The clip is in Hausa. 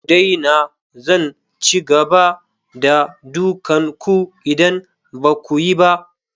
Ku daina! Zan ci gaba da dukan ku idan ba ku yi ba.